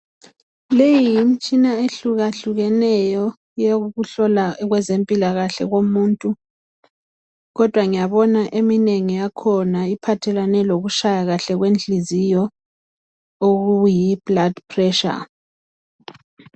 Leyi yimtshina ehlukahlukeneyo yokuhlola okwezempilakahle komuntu kodwa ngiyabona eminengi yakhona iphathelane lokutshaya kahle kwenhliziyo okuyi blood pressure.